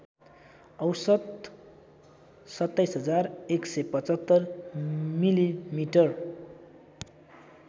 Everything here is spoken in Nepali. औषत २७१७५ मिलिमिटर